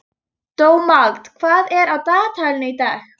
Dómald, hvað er á dagatalinu í dag?